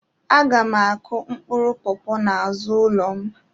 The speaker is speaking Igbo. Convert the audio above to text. Aga m akụ mkpụrụ pọpọ n'azụ ụlọ m